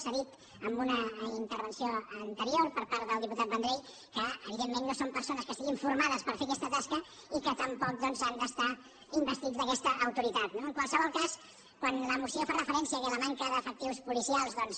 s’ha dit amb una intervenció anterior per part del diputat vendrell que evidentment no són persones que estiguin formades per fer aquesta tasca i que tampoc doncs han d’estar investits d’aquesta autoritat no en qualsevol cas quan la moció fa referència al fet que la manca d’efectius policials doncs